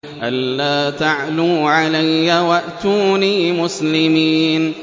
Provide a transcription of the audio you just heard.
أَلَّا تَعْلُوا عَلَيَّ وَأْتُونِي مُسْلِمِينَ